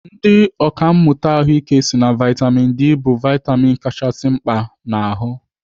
Ndị ọkàmmụta ahụike si na vitamin D bụ vitamin kachasị mkpa n'ahụ.